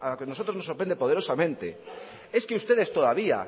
que nosotros nos sorprende poderosamente es que ustedes todavía